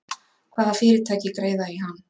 Hvaða fyrirtæki greiða í hann?